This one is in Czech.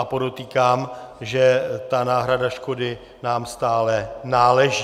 A podotýkám, že ta náhrada škody nám stále náleží.